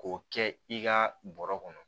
K'o kɛ i ka bɔrɔ kɔnɔ